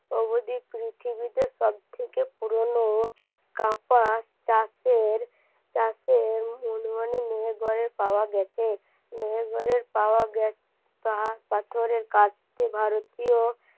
অবধি পৃথিবীতে সবথেকে পুরোনো মেহেরগড়ে পাওয়া গেছে মেহেরগড়ের পাওয়া পাথরের কাজটি ভারতীয়